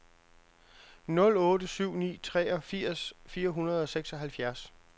nul otte syv ni treogfirs fire hundrede og seksoghalvfjerds